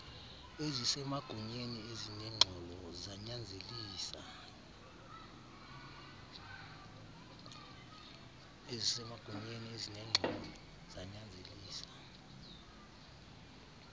ezisemagunyeni ezinengxolo zanyanzelisa